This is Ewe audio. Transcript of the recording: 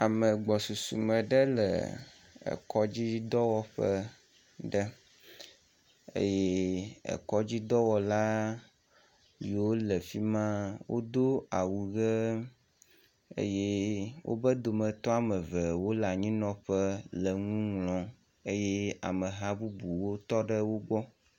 Ame gbɔsusu me ɖe le ekɔdzidɔwɔƒe ɖe eye ekɔdzidɔwɔla yiwo le fima wodo awu ʋe eye wobe dometɔ ame eve wo le anyinɔƒe le nu ŋlɔm eye ameha bubuwo tɔ ɖe wo gbɔ.